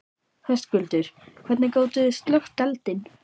Höskuldur: Hvernig gátið þið slökkt eldinn?